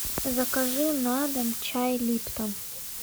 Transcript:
закажи на дом чай липтон